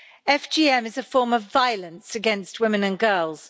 FGM is a form of violence against women and girls.